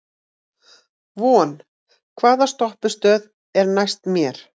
Von, hvaða stoppistöð er næst mér?